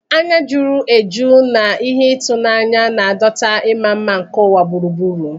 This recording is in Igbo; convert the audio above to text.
Anya juru eju na ihe ịtụnanya, na-adọta ịma mma nke ụwa gburugburu.